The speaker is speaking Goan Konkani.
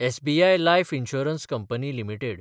SBI life insurance company limited